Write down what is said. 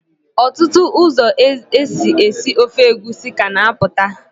Ọtụtụ ụzọ esi, esi ofe egusi ka na-apụta.